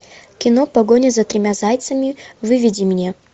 кино погоня за тремя зайцами выведи мне